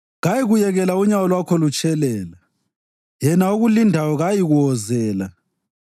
Kayikuyekela unyawo lwakho lutshelela yena okulindayo kayikuwozela;